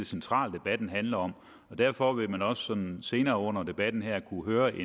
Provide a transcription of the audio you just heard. centrale debatten handler om og derfor vil man også senere under debatten her kunne høre et